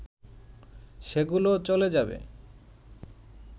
সেগুলোও চলে যাবে